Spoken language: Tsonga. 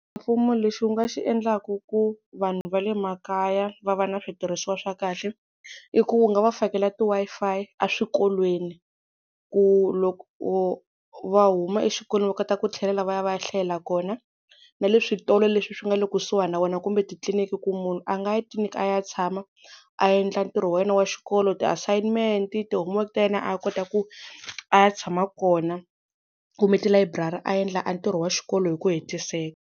Mfumo lexi wu nga xi endlaka ku vanhu va le makaya va va na switirhisiwa swa kahle. I ku wu nga va fakela ti-Wi-Fi eswikolweni, ku loko va huma exikolweni va kota ku tlhelela va ya va ya hlayela kona na le switolo leswi swi nga le kusuhani na wena kumbe titliliniki, ku munhu a nga ya tliliniki a ya tshama a endla ntirho wa yena wa xikolo ti-assignment-i, ti-homework-i ta yena a kota ku a ya tshama kona kumbe tilayiburari a endla a ntirho wa xikolo hi ku hetiseka.